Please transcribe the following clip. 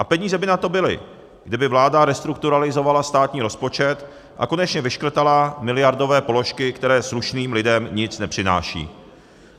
A peníze by na to byly, kdyby vláda restrukturalizovala státní rozpočet a konečně vyškrtala miliardové položky, které slušným lidem nic nepřinášejí.